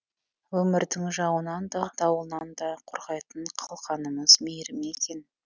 өмірдің жауынынан да дауылынан да қорғайтын қалқанымыз мейірім екен